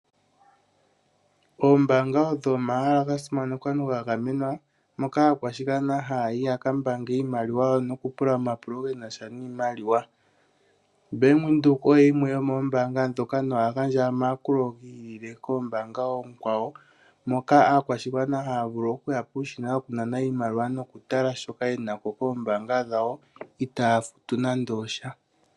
Oombaanga odho omahala gasimanekwa noga gamenwa moka aakwashigwana haya yi yakambaange iimaliwa yawo nokupula omapulo genasha niimaliwa. Ombaanga yaWindhoek oyo yimwe yomoombanga dhoka nohagandja omayakulo gi ili koombanga oonkwawo, moka aakwashigwana haya vulu okuya puushina wokunana nokutala shoka yenako kombaanga dhawo itaya futu nande osha.